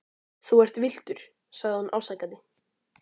Þú ert villtur, sagði hún ásakandi.